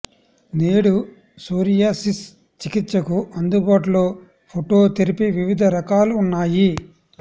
నేడు సోరియాసిస్ చికిత్సకు అందుబాటులో ఫోటో థెరపీ వివిధ రకాల ఉన్నాయి